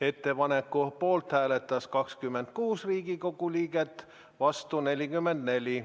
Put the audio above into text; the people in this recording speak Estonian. Ettepaneku poolt hääletas 26 Riigikogu liiget, vastu 44.